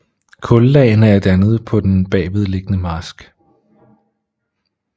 Kullagene er dannet på den bagvedliggende marsk